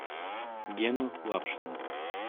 гену лапшина